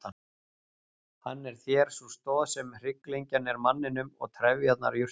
Hann er þér sú stoð sem hrygglengjan er manninum og trefjarnar jurtunum.